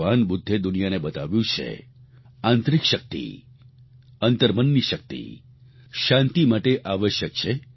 ભગવાન બુદ્ધે દુનિયાને બતાવ્યું છે આંતરિક શક્તિ અંતર્મનની શક્તિ શાંતિ માટે આવશ્યક છે